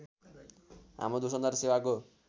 हाम्रो दूरसञ्चार सेवाको